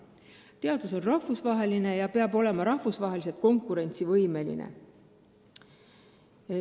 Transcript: Teadus on rahvusvaheline ja peab olema rahvusvaheliselt konkurentsivõimeline.